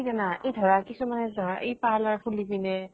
কি জানা । এই ধৰা, কিছুমানে ধৰা এই parlour খুলি পিনে